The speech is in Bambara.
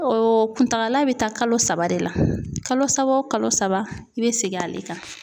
O kuntagala bɛ taa kalo saba de la kalo saba o kalo saba i bɛ segin ale kan.